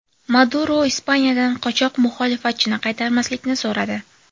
Maduro Ispaniyadan qochoq muxolifatchini qaytarmaslikni so‘radi.